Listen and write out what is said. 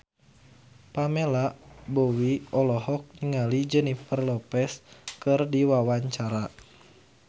Pamela Bowie olohok ningali Jennifer Lopez keur diwawancara